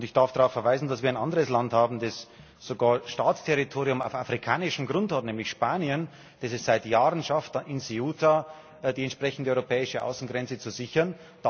Ich darf darauf verweisen, dass ein anderes Land in der EU sogar Staatsterritorium auf afrikanischem Grund hat, nämlich Spanien, das es seit Jahren schafft, in Ceuta die entsprechende europäische Außengrenze zu sichern.